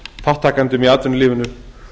þátttakendum í atvinnulífinu